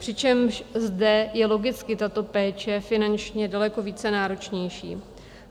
Přičemž zde je logicky tato péče finančně daleko více náročnější.